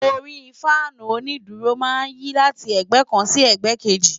Orí Fáànù onídùúró máa ń yí láti ẹ̀gbẹ́ kan sí ẹ̀gbẹ́ kejì.